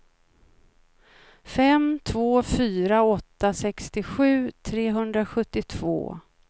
fem två fyra åtta sextiosju trehundrasjuttiotvå